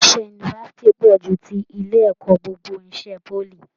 Iṣẹ yunifásítì pọ jù tí ilé ẹ̀kọ́ gbogbo n'isè poly.